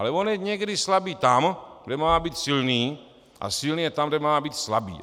Ale on je někdy slabý tam, kde má být silný, a silný je tam, kde má být slabý.